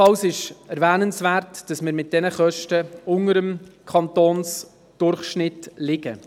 Ebenfalls ist erwähnenswert, dass wir mit diesen Kosten unter dem Kantonsdurchschnitt liegen.